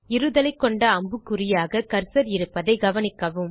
இருதலை கொண்ட அம்புக்குறியாக கர்சர் இருப்பதைக்கவனிக்கவும்